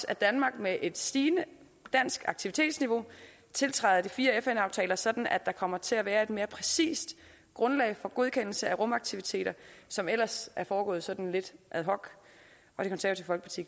at danmark med et stigende dansk aktivitetsniveau tiltræder de fire fn aftaler sådan at der kommer til at være et mere præcist grundlag for godkendelse af rumaktiviteter som ellers er foregået sådan lidt ad hoc